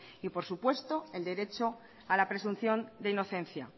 y por supuesto el derecho a la presunción de inocencia